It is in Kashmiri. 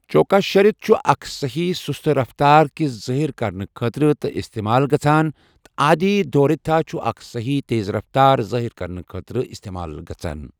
چوکا شَرٕت چھُ اکھ سہی سُستہٕ رفتار کہِ ظٲہر کرنہٕ خٲطرٕ تہِ استعمال گژھان تہٕ آدی دھوریتھا چھُ اکھ سَہی تیز رفتار ظٲہر کرنہٕ خٲطرٕ استعمال گژھان